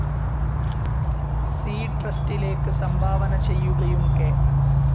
C ട്രസ്റ്റിലേക്ക് സംഭാവന ചെയ്യുകയും കെ.